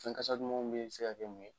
Fɛn kasa dumanw bɛ se ka mun ye ?